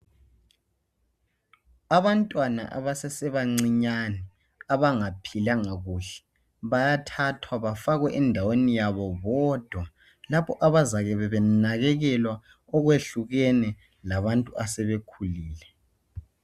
abantwana abasesebancinyane abangaphilanga kuhle bayathathwa bafakwe endaweni yabo bodwa lapho abazabe benakekelwa okwehlukene labantu asebekhulile